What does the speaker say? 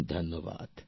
প্রেম জী ধন্যবাদ